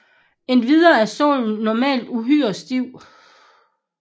Endvidere er sålen normalt uhyre stiv